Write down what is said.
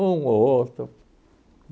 ou outro.